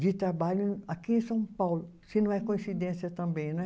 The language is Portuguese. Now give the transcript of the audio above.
de trabalho aqui em São Paulo, se não é coincidência também, né?